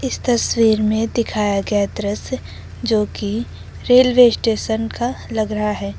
इस तस्वीर में दिखाया गया दृश्य जो कि रेलवे स्टेशन का लग रहा है।